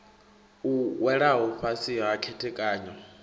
u welaho fhasi ha khethekanyo